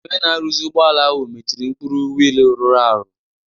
Onye na-arụzi ụgbọala ahụ mechiri mkpụrụ wheel rụrụ arụ.